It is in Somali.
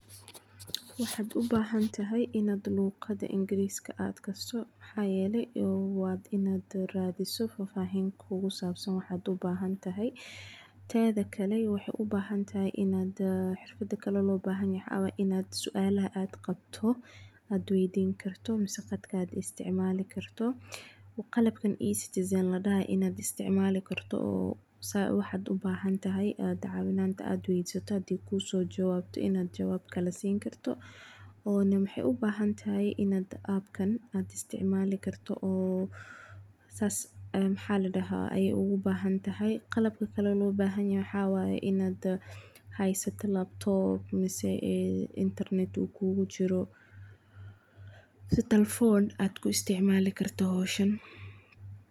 Waxaad ubahan tahay inaad luqada kasto, teeda kale waxaad ubahan tahay inaad sualaha weydinaa karto, qalabka inaad isticmaali karto, waxeey ubahan tahay inaad isticmaala karto, inaad haysato inarneet, si telefoon aad ku isticmaali karto howshan.